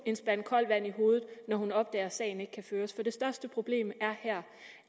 en spand koldt vand i hovedet når hun opdager at sagen ikke kan føres for det største problem her